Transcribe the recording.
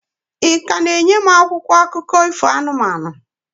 Ị ka na-enye m akwụkwọ akụkọ ifo anụmanụ?